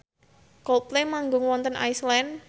Coldplay manggung wonten Iceland